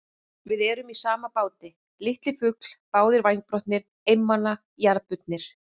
Við erum í sama báti, litli fugl, báðir vængbrotnir, einmana, jarðbundnir.